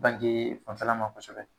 Bange fanfɛla ma kosɛbɛ.